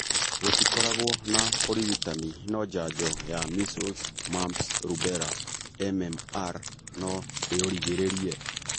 Gũtikoragũo na ũrigitani no njanjo ya measles mumps rubella (MMR) no ĩũrigĩrĩrie.